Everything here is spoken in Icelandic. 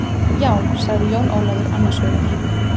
Já, sagði Jón Ólafur annars hugar.